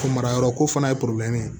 Ko mara yɔrɔ ko fana ye ye